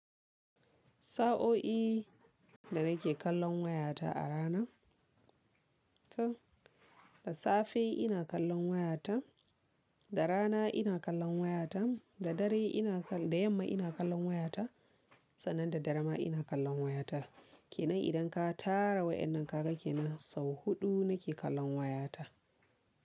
Sa'o'i da nake kallon wayata a rana. Da safe ina kallon wayata, da rana ina kallon wayata, da dare ina da yamma ina kallon wayata, sannan da dare ma ina kallon wayata. Ke nan idan ka tara wa'yannan kaga ke nan sau huɗu nake kallon wayata.